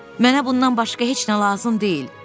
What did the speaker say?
Mənə bundan başqa heç nə lazım deyil.